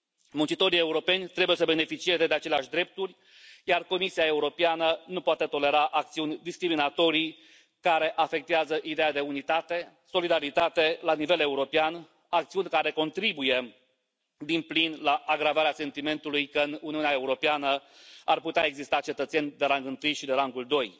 Muncitorii europeni trebuie să beneficieze de aceleași drepturi, iar Comisia Europeană nu poate tolera acțiuni discriminatorii, care afectează ideea de unitate, solidaritate la nivel european, acțiuni care contribuie din plin la agravarea sentimentului că în Uniunea Europeană ar putea exista cetățeni de rangul I și de rangul II.